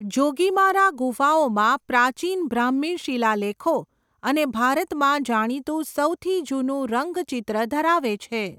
જોગીમારા ગુફાઓમાં પ્રાચીન બ્રાહ્મી શિલાલેખો અને ભારતમાં જાણીતું સૌથી જૂનું રંગચિત્ર ધરાવે છે.